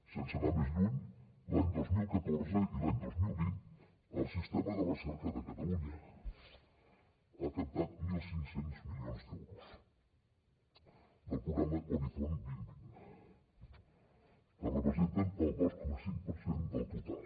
sense anar més lluny l’any dos mil catorze i l’any dos mil vint el sistema de recerca de catalunya ha captat mil cinc cents milions d’euros del programa horizon dos mil vint que representen el dos coma cinc per cent del total